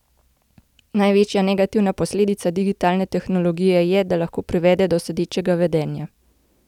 Največja negativna posledica digitalne tehnologije je, da lahko privede do sedečega vedenja.